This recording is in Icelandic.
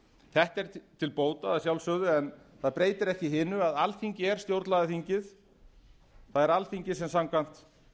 þetta er til bóta að sjálfsögðu en það breytir ekki hinu að alþingi er stjórnlagaþingið það er alþingi sem samkvæmt